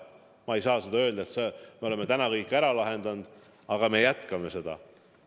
Ma ei saa öelda, et me oleme kõik probleemid ära lahendanud, aga me jätkame seda.